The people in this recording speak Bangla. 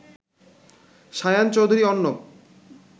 শায়ান চৌধুরী অর্ণব